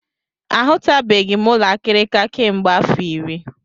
A hụtụbeghị m ụlọ akịrịka kemgbe afọ iri.